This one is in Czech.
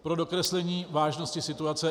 Pro dokreslení vážnosti situace: